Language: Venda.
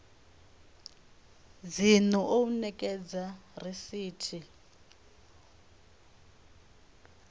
dzinnu u o ekedza risithi